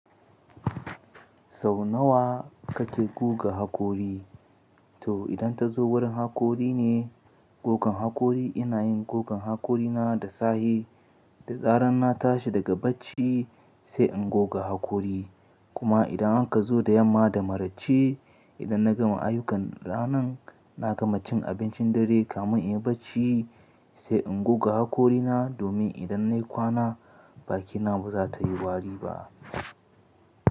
Sau nawa kake guga hakori? To idan ta zo wurin haƙori ne, gogan haƙori ina yin gogan haƙorina da sahe da zarar na tashi daga bacci sai in goga haƙori. Kuma idan an ka zo da yamma da maraice, idan na gama ayyukan ranan na gama cin abincin dare kamin in yi bacci sai in goga haƙorina domin idan nayi kwana bakina ba za ta yi wari ba.